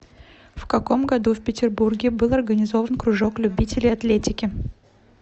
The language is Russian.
в каком году в петербурге был организован кружок любителей атлетики